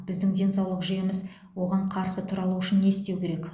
біздің денсаулық жүйеміз оған қарсы тұра алуы үшін не істеу керек